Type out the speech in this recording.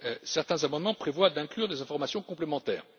Certains amendements prévoient d'inclure des informations complémentaires.